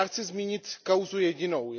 Já chci zmínit kauzu jedinou.